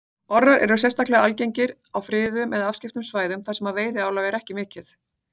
Orrar eru sérstaklega algengir á friðuðum eða afskekktum svæðum þar sem veiðiálag er ekki mikið.